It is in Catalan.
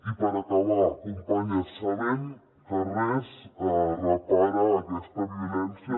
i per acabar companyes sabem que res repara aquesta violència